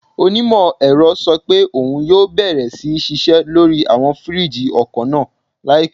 Onímọ̀-ẹ̀rọ sọ pé òun yóò bẹ̀rẹ̀ sí ṣiṣẹ́ lórí àwọn fìríìjì ọkọ̀ náà láìpẹ́